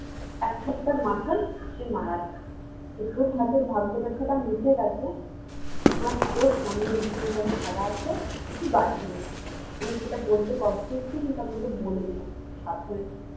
এক সপ্তাহের মাথায় সে মারা যায় তো তোর হাতের ভাগ্য রেখাটা মুছে গেছে মা তোর সামনে ভীষণ বড়ো ফারা আছে তুই বাঁচবি না আমি সেটা বলতে কষ্ট হচ্ছে কিন্তু আমি তোকে বলে দিলাম সাবধানে থাকবি